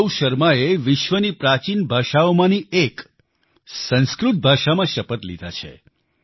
ગૌરવ શર્માએ વિશ્વની પ્રાચિન ભાષાઓમાંની એક સંસ્કૃત ભાષામાં શપથ લીધા છે